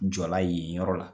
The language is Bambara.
jɔ la yen yɔrɔ la.